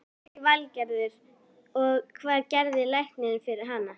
Lillý Valgerður: Og, hvað gerði læknirinn fyrir hana?